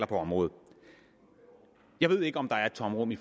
på området jeg ved ikke om der er et tomrum i